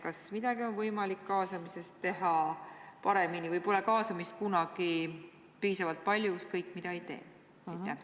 Kas kaasamises on võimalik teha midagi paremini või pole kaasamist kunagi piisavalt palju, ükskõik mida ka ei teeks?